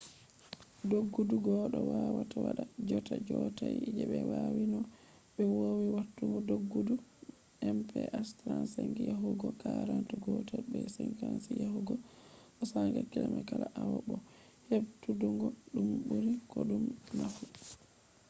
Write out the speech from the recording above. doggudu goɗɗo wawata waɗa jotta yottai je ɓe wati no ɓe wowi watugo doggudu mph 35 yahugo 40 gotel be 56 yahugo 64 km kala awa bo heɗutuggo ɗum ɓuri koɗume nafu